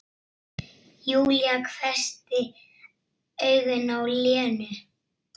Júlía hvessti augun á Lenu.